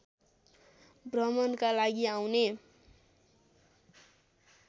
भ्रमणका लागि आउने